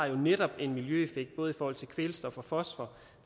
jo netop har en miljøeffekt både i forhold til kvælstof og fosfor